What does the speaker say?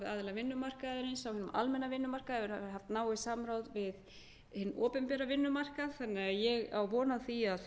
á hinum almenna vinnumarkaði hefur verið haft náið samráð við hinn opinbera vinnumarkað þannig að ég á von á því að